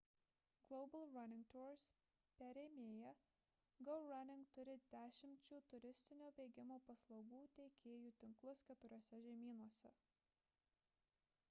global running tours perėmėja go running turi dešimčių turistinio bėgimo paslaugų teikėjų tinklus keturiuose žemynuose